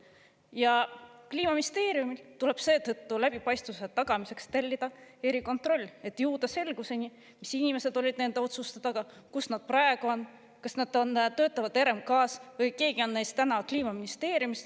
Ja Kliimaministeeriumil tuleb seetõttu läbipaistvuse tagamiseks tellida erikontroll, et jõuda selgusele, mis inimesed olid nende otsuste taga, kus nad praegu on, kas nad töötavad RMK‑s või kas keegi on neist Kliimaministeeriumis.